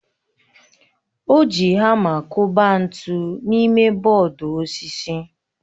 O ji hama kụba ntu n'ime bọọdụ osisi